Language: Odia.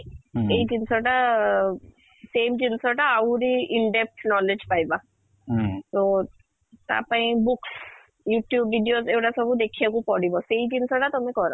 ଏଇ ଜିନିଷ ଟା same ଜିନିଷ ଟା ଆହୁରି in in depth knowledge ପାଇବା ତ ତା ପାଇଁ books, youtube videos ଏ ଗୁଡା ସବୁ ଦେଖିବାକୁ ପଡିବ ସେଇ ଜିନିଷ ତା ତମେ କର